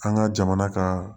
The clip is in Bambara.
An ka jamana ka